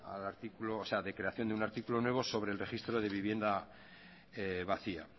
de creación de un artículo nuevo sobre el registro de vivienda vacía